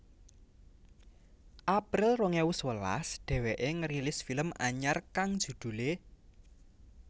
April rong ewu sewelas dheweké ngerilis film anyar kang judulé